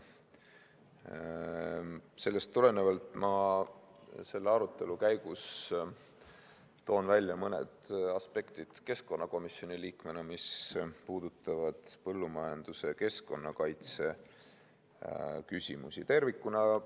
Sellest tulenevalt ma selle arutelu käigus toon välja mõned aspektid keskkonnakomisjoni liikmena, mis puudutavad põllumajanduse ja keskkonnakaitse küsimusi tervikuna.